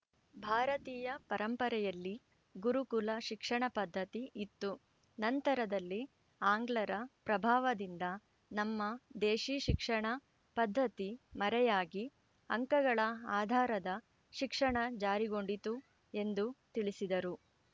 ಭಾರತೀಯ ಪರಂಪರೆಯಲ್ಲಿ ಗುರುಕುಲ ಶಿಕ್ಷಣ ಪದ್ಧತಿ ಇತ್ತು ನಂತರದಲ್ಲಿ ಆಂಗ್ಲರ ಪ್ರಭಾವದಿಂದ ನಮ್ಮ ದೇಶೀ ಶಿಕ್ಷಣ ಪದ್ಧತಿ ಮರೆಯಾಗಿ ಅಂಕಗಳ ಆದಾರದ ಶಿಕ್ಷಣ ಜಾರಿಗೊಂಡಿತು ಎಂದು ತಿಳಿಸಿದರು